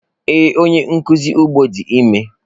Ee, onye nkuzi ugbo di ime.